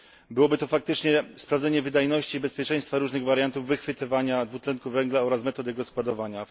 Byłoby to faktycznie sprawdzenie wydajności i bezpieczeństwa różnych wariantów wychwytywania dwutlenku węgla oraz metody jego składowania.